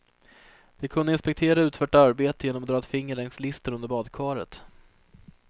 De kunde inspektera utfört arbete genom att dra ett finger längs listen under badkaret.